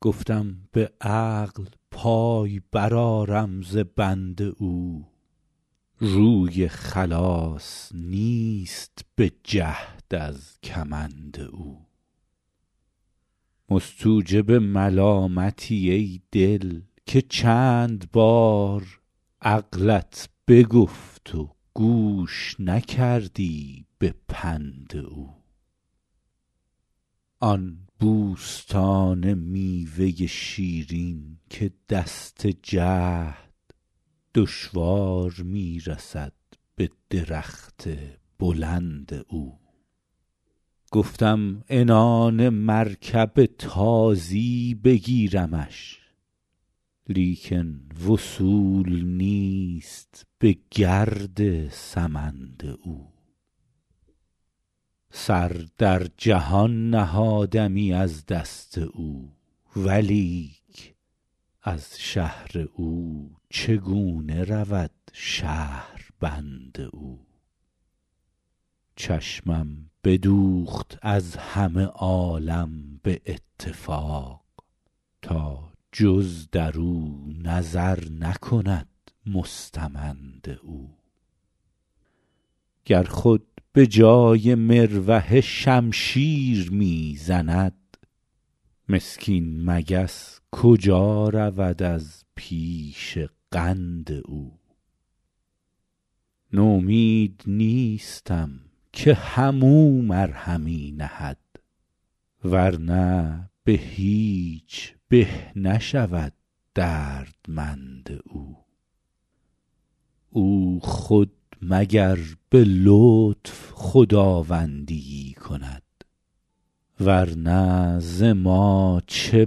گفتم به عقل پای برآرم ز بند او روی خلاص نیست به جهد از کمند او مستوجب ملامتی ای دل که چند بار عقلت بگفت و گوش نکردی به پند او آن بوستان میوه شیرین که دست جهد دشوار می رسد به درخت بلند او گفتم عنان مرکب تازی بگیرمش لیکن وصول نیست به گرد سمند او سر در جهان نهادمی از دست او ولیک از شهر او چگونه رود شهربند او چشمم بدوخت از همه عالم به اتفاق تا جز در او نظر نکند مستمند او گر خود به جای مروحه شمشیر می زند مسکین مگس کجا رود از پیش قند او نومید نیستم که هم او مرهمی نهد ور نه به هیچ به نشود دردمند او او خود مگر به لطف خداوندی ای کند ور نه ز ما چه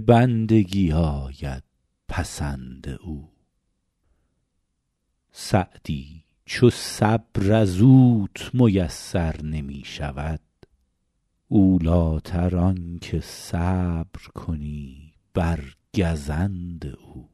بندگی آید پسند او سعدی چو صبر از اوت میسر نمی شود اولی تر آن که صبر کنی بر گزند او